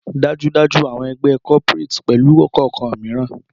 Dájúdájú! awọn egbe cooperates pẹlu kọọkan miiran